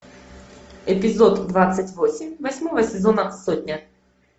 эпизод двадцать восемь восьмого сезона сотня